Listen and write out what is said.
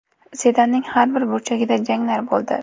Sedanning har bir burchagida janglar bo‘ldi.